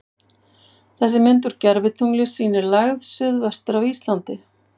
Þessi mynd úr gervitungli sýnir lægð suð-vestur af Íslandi.